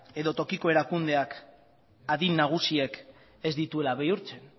edo tokiko erakundeak adin nagusiek ez dituela bihurtzen